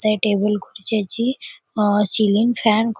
त्या टेबल खुर्च्याची अ सीलिंग फॅन --